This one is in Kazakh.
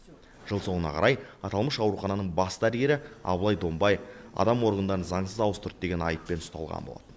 жыл соңына қарай аталмыш аурухананың бас дәрігері абылай донбай адам органдарын заңсыз ауыстырды деген айыппен ұсталған болатын